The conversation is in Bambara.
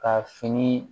Ka fini